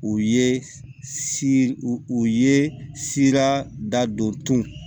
U ye si u ye sira dadon